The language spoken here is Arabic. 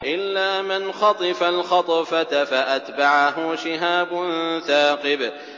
إِلَّا مَنْ خَطِفَ الْخَطْفَةَ فَأَتْبَعَهُ شِهَابٌ ثَاقِبٌ